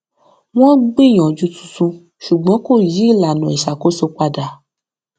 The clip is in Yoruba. wọn gbìyànjú tuntun ṣùgbọn kò yí ìlànà iṣakoso padà